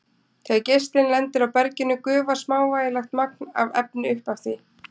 Þegar geislinn lendir á berginu gufar smávægilegt magn af efni upp af því.